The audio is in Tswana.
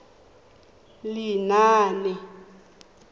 lenaane